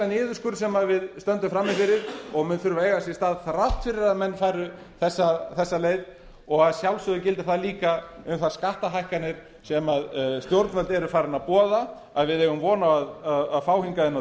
niðurskurð sem við stöndum frammi fyrir og mun þurfa að eiga sér stað þrátt fyrir að menn fari þessa leið og að sjálfsögðu gildir það líka um þær skattahækkanir sem stjórnvöld eru farin að boða og við eigum von á að fá hingað inn á